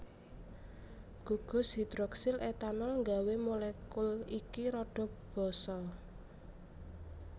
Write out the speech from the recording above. Gugus hidroksil etanol nggawé molekul iki rada basa